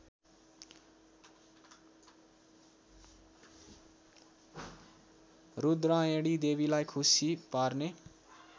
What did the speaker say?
रूद्रायणीदेवीलाई खुशी पार्ने